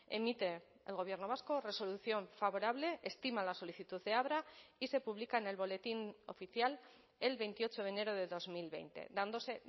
emite el gobierno vasco resolución favorable estima la solicitud de abra y se publica en el boletín oficial el veintiocho de enero de dos mil veinte dándose